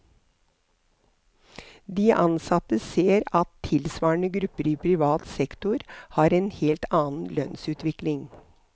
De ansatte ser at tilsvarende grupper i privat sektor har en helt annen lønnsutvikling.